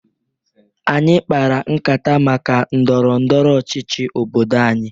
Anyị kpara nkata maka ndọrọ ndọrọ ọchịchị obodo anyị.